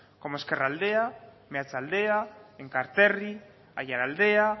como ezkerraldea meatzaldea enkarterri aiaraldea